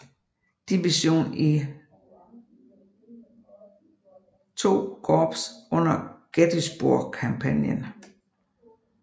Division i II Korps under Gettysburg kampagnen